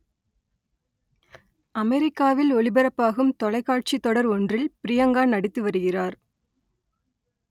அமெரிக்காவில் ஒளிபரப்பாகும் தொலைக்காட்சி தொடர் ஒன்றில் ப்ரியங்கா நடித்து வருகிறார்